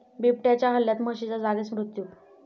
बिबट्याच्या हल्ल्यात म्हशीचा जागीच मृत्यू